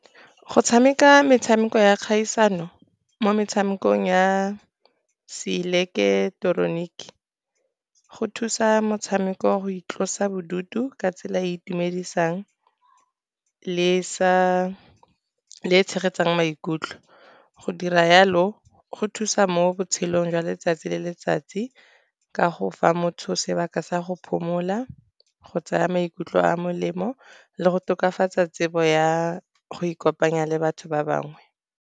Go tshameka metshameko ya kgaisano mo metshamekong ya seileketeroniki, go thusa motshameko go itlosa bodutu ka tsela e e itumedisang le e tshegetsang maikutlo. Go dira jalo go thusa mo botshelong jwa letsatsi le letsatsi, ka go fa motho o sebaka sa go phomola go tsaya maikutlo a a molemo, le go tokafatsa tsebo ya go ikopanya le batho ba bangwe.